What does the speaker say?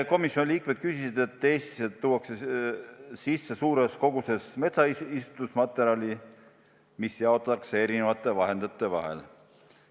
Komisjoni liikmed küsisid selle kohta, et Eestisse tuuakse sisse suures koguses metsaistutusmaterjali, mis jaotatakse eri vahendajate vahel.